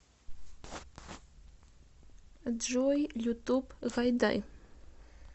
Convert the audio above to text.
джой ютуб гайдай